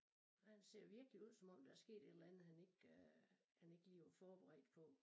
Og han ser virkelig ud som om der er sket et eller andet han ikke øh han ikke lige var forberedt på